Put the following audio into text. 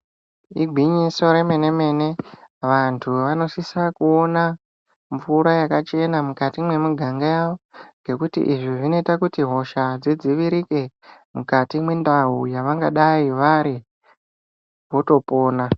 Igwinyiso re mene mene vantu vanosisa kuona mvura yakachena mukati mwe muganga yavo ngekuti izvi zvinoita kuti hosha dzi dzivirike mukati mwe ndau yavangadai vari voto pona.